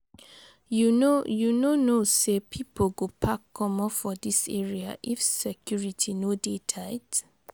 You no You no know sey pipo go pack comot for dis area if security no dey tight?